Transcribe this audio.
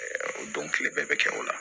O don kile bɛɛ bɛ kɛ o la